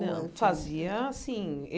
Não, fazia, assim.